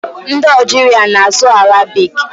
Ndị Ọjiria na-asụ arabik.